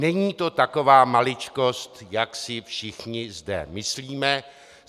Není to taková maličkost, jak si všichni zde myslíme.